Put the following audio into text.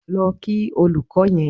Lọ kí olóko yẹn.